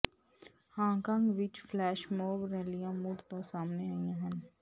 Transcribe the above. Hong Kong ਵਿੱਚ flash mob ਰੈਲੀਆਂ ਮੁੜ ਤੋਂ ਸਾਹਮਣੇ ਆਈਆਂ ਹਨ